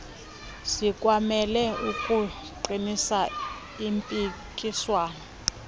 sikwamele ukuqinisa impikiswano